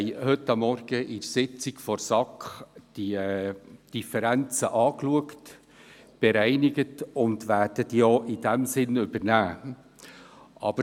An der Sitzung der SAK von heute Morgen haben wir uns diese Differenzen angeschaut und sie dahingehend bereinigt, was wir übernehmen werden.